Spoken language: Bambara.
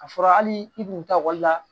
A fɔra hali i kun ta ekɔli la